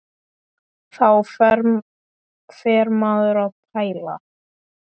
Þá fer maður að pæla.